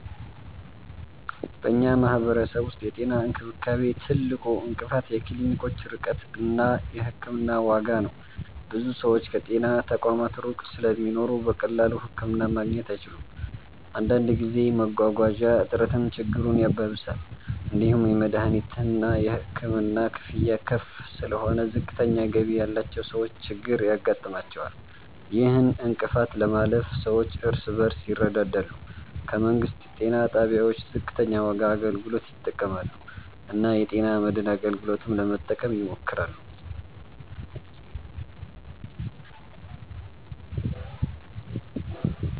በእኛ ማህበረሰብ ውስጥ የጤና እንክብካቤ ትልቁ እንቅፋት የክሊኒኮች ርቀት እና የሕክምና ዋጋ ነው። ብዙ ሰዎች ከጤና ተቋማት ሩቅ ስለሚኖሩ በቀላሉ ህክምና ማግኘት አይችሉም። አንዳንድ ጊዜ መጓጓዣ እጥረትም ችግሩን ያባብሳል። እንዲሁም የመድሀኒትና የሕክምና ክፍያ ከፍ ስለሆነ ዝቅተኛ ገቢ ያላቸው ሰዎች ችግር ያጋጥማቸዋል። ይህን እንቅፋት ለማለፍ ሰዎች እርስ በርስ ይረዳዳሉ፣ ከመንግስት ጤና ጣቢያዎች ዝቅተኛ ዋጋ አገልግሎት ይጠቀማሉ እና የጤና መድን አገልግሎትን ለመጠቀም ይሞክራሉ።